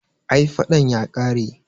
ai fadan ya kare